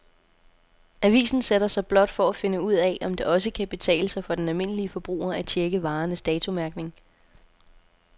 Avisen sætter sig blot for at finde ud af, om det også kan betale sig for den almindelige forbruger at checke varernes datomærkning.